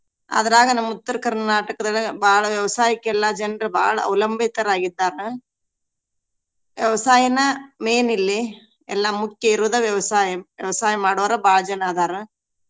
ಅದ್ರಾಗ ನಮ್ ಉತ್ತರ ಕರ್ನಾಟಕದೊಳಗ ಬಾಳ ವ್ಯವಸಾಯಕ್ಕೆಲ್ಲಾ ಜನ್ರ್ ಬಾಳ ಅವಲಂಬಿತರಾಗಿದ್ದಾರ. ವ್ಯವಸಾಯನ main ಇಲ್ಲಿ. ಎಲ್ಲಾ ಮುಖ್ಯ ಇರೋದ ವ್ಯವಸಾಯ. ವ್ಯವಸಾಯ ಮಾಡೊವ್ರ ಬಾಳ ಜನಾ ಅದಾರ.